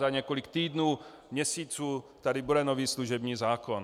Za několik týdnů, měsíců tady bude nový služební zákon.